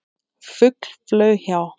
Fugl flaug hjá.